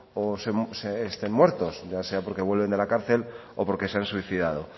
o estén muertos ya sea porque vuelven de la cárcel o porque se han suicidado